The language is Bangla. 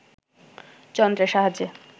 যন্ত্রের সাহায্যে